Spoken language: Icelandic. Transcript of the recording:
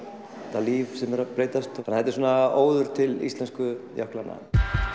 það líf sem er að breytast þannig þetta er svona óður til íslensku jöklanna